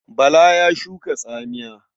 Bala ya shuka tsamiya.